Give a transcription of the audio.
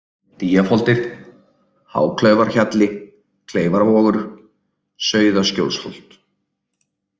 Dýjafoldir, Háklaufarhjalli, Kleifarvogur, Sauðaskjólsholt